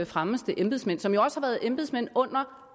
fremmeste embedsmænd som jo også har været embedsmænd under